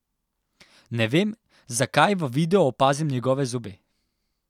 Ne vem, zakaj v videu opazim njegove zobe.